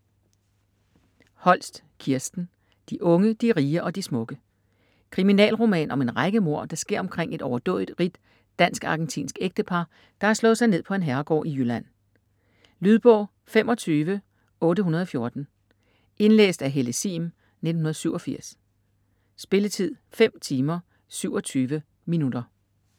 Holst, Kirsten: De unge, de rige og de smukke Kriminalroman om en række mord, der sker omkring et overdådigt rigt dansk-argentinsk ægtepar, der har slået sig ned på en herregård i Jylland. Lydbog 25814 Indlæst af Helle Sihm, 1987. Spilletid: 5 timer, 27 minutter.